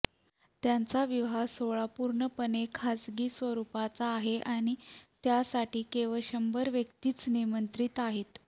त्यांचा विवाह सोहळा पूर्णपणे खासगी स्वरूपाचा आहे आणि त्यासाठी केवळ शंभर व्यक्तीच निमंत्रित आहेत